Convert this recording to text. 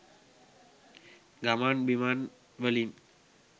ගමන් බිමන්වලින්